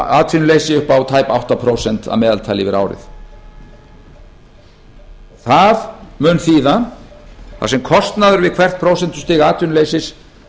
atvinnuleysi upp á tæp átta prósent að meðaltali yfir árið það mun þýða þar sem kostnaður við hvert prósentustig atvinnuleysis